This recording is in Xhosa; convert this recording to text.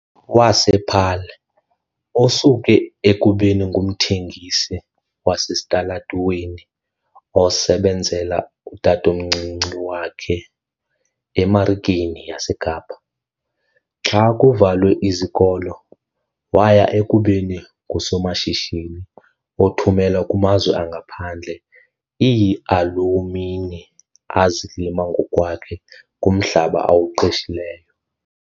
wasePaarl, osuke ekubeni ngumthengisi wasesitalatweni osebenzela utatomncinci wakhe eMarikeni yaseKapa xa kuvalwe izikolo waya ekubeni ngusomashishini othumela kumazwe angaphandle iialumini azilima ngokwakhe kumhlaba awuqeshileyo.